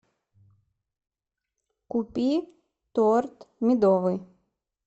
купи торт медовый